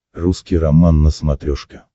русский роман на смотрешке